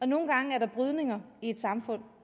nogle gange er der brydninger i et samfund